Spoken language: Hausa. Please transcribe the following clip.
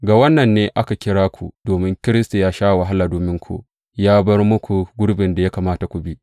Ga wannan ne aka kira ku, domin Kiristi ya sha wahala dominku, ya bar muku gurbin da ya kamata ku bi.